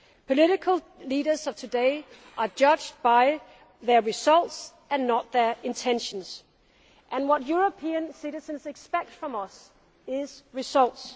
Political leaders of today are judged by their results, not their intentions, and what European citizens expect from us is results.